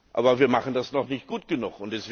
Aber wir machen das noch nicht gut genug.